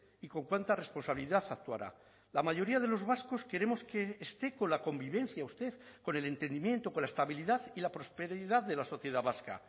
y con cuánta responsabilidad actuará la mayoría de los vascos queremos que esté con la convivencia usted con el entendimiento con la estabilidad y la prosperidad de la sociedad vasca